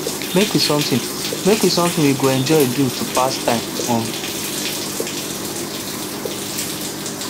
make we something make we something way we go enjoy do to pass time um